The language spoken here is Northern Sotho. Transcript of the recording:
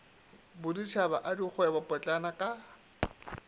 boditšhaba a dikgwebo potlana ka